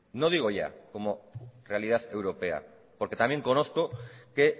no digo ya como realidad europea porque también conozco que